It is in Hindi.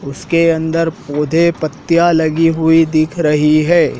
उसके अंदर पौधे पत्तियां लगी हुई दिख रही है।